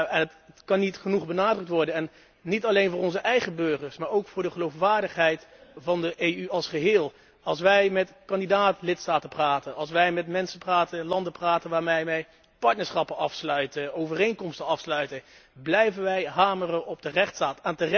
Het kan niet genoeg benadrukt worden, niet alleen voor onze eigen burgers, maar ook voor de geloofwaardigheid van de EU als geheel. Als wij met kanditdaat lidstaten praten, als wij met mensen en met landen praten waarmee wij partnerschappen sluiten, overeenkomsten sluiten, blijven wij hameren op de rechtsstaat.